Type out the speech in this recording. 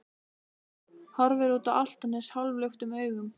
Horfir út á Álftanes hálfluktum augum.